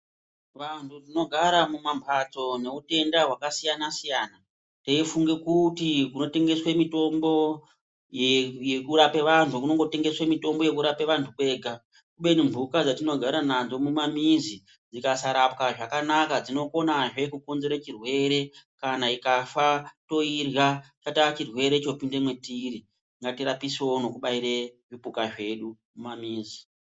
Vantu tinogara mumambatso nemutenda hwakasiyana siyana teifunge kuti kunotengeswe mitombo yekurape vantu kunongotengeswe mitombo yekurape vantu kwega kubeni mhuka dzatinogara nadzo mumamizi dzikasaraowa zvakanaka dzinokonazve kukonzere chirwere kana ikafa toirya chata chirwere chopinda mwatiri ngatirapisewo nokubaire zvipuka zvedu mumamizi.